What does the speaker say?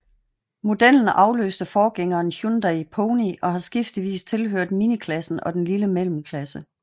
Modellen afløste forgængeren Hyundai Pony og har skiftevis tilhørt miniklassen og den lille mellemklasse